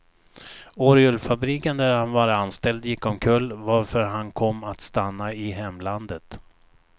Orgelfabriken där han var anställd gick omkull, varför han kom att stanna i hemlandet.